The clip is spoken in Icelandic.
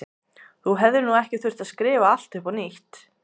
Þú hefðir nú ekki þurft að skrifa allt upp á nýtt.